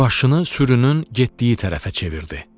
Başını sürünün getdiyi tərəfə çevirdi.